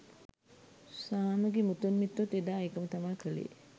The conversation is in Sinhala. සාමගෙ මුතුන් මිත්තොත් එදා ඒකම තමා කලේ